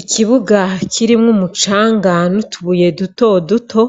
Ikibuga kirimwo umucanga n'utubuye dutoduto,